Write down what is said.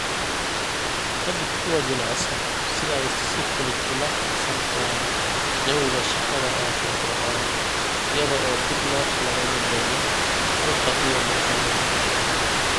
Ka dhig kuwo jilicsan si ay si fudud ula qabsan karaan jawiga shaqada ee firfircoon iyada oo dib loo qalabayn doono halka iyo marka loo baahdo.